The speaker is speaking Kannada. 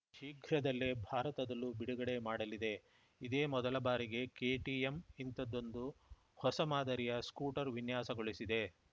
ಶೀಘ್ರದಲ್ಲೇ ಭಾರತದಲ್ಲೂ ಬಿಡುಗಡೆ ಮಾಡಲಿದೆ ಇದೇ ಮೊದಲ ಬಾರಿಗೆ ಕೆಟಿಎಂ ಇಂಥದ್ದೊಂದು ಹೊಸ ಮಾದರಿಯ ಸ್ಕೂಟರ್‌ ವಿನ್ಯಾಸಗೊಳಿಸಿದೆ